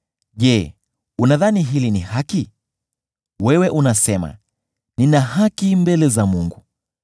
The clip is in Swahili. “Je, unadhani hili ni haki? Wewe unasema, ‘Nina haki mbele za Mungu.’